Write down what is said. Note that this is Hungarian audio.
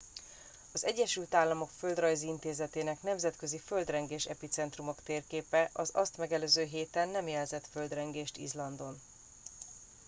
az egyesült államok földrajzi intézetének nemzetközi földrengés epicentrumok térképe az azt megelőző héten nem jelzett földrengést izlandon